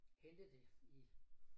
Hentet det i